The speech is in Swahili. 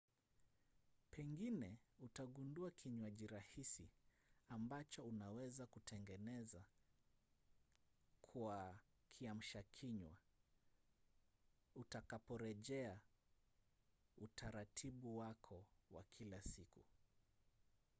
pengine utagundua kinywaji rahisi ambacho unaweza kutengeneza kwa kiamshakinywa utakaporejea utaratibu wako wa kila siku